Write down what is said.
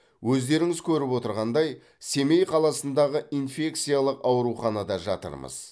өздеріңіз көріп отырғандай семей қаласындағы инфекциялық ауруханада жатырмыз